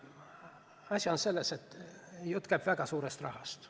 Asi on selles, et jutt käib väga suurest rahast.